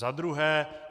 Za druhé.